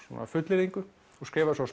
fullyrðingu og skrifaði svo